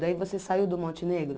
Daí você saiu do Monte Negro?